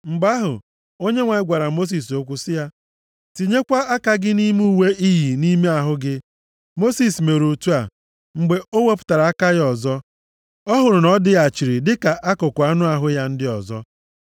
Mgbe ahụ, Onyenwe anyị gwara Mosis okwu sị ya, “Tinyekwa aka gị nʼime uwe i yi nʼime ahụ gị.” Mosis mere otu a. Mgbe o wepụtara aka ya ọzọ, ọ hụrụ na ọ dịghachiri dịka akụkụ anụ ahụ ya ndị ọzọ.